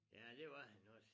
Ja det var han også